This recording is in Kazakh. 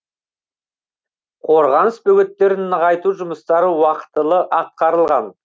қорғаныс бөгеттерін нығайту жұмыстары уақытылы атқарылған